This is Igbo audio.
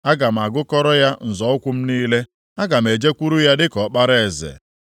Aga m agụkọrọ ya nzọ ụkwụ m niile, aga m ejekwuru ya dịka ọkpara eze.)